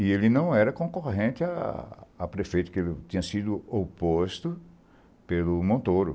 E ele não era concorrente a prefeito, porque ele tinha sido oposto pelo Montoro.